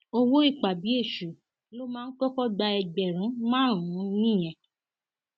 owó ìpabí èṣù la máa ń kọkọ gba ẹgbẹrún márùnún nìyẹn